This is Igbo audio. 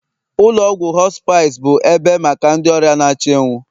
ụlọ ọgwụ hospice bụ ebe maka ndị ọrịa na-achọ ịnwụ